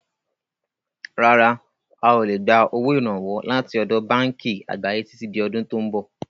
Rárá, a ó lè gbà owó Ìrànwọ́ láti ọ̀dọ̀ báànkì àgbáyé títí di ọdún tò ń bọ̀.